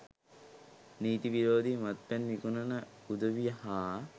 නීති විරෝධී මත්පැන් විකුණන උදවිය හා